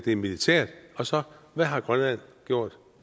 er militært og så hvad har grønland gjort